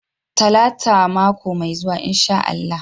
Talata mako mai zuwa insha Allah.